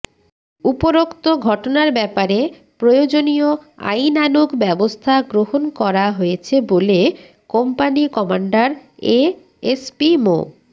উপরোক্ত ঘটনার ব্যাপারে প্রয়োজনীয় আইনানুগ ব্যবস্থা গ্রহণ করা হয়েছে বলে কোম্পানী কমান্ডার এএসপি মো